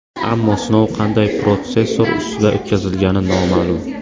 Ammo sinov qanday protsessor ustida o‘tkazilgani noma’lum.